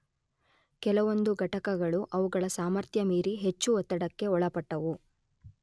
ಕೆಲವೊಂದು ಘಟಕಗಳು ಅವುಗಳ ಸಾಮರ್ಥ್ಯ ಮೀರಿ ಹೆಚ್ಚು ಒತ್ತಡಕ್ಕೆ ಒಳಪಟ್ಟವು.